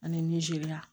Ani nizeriya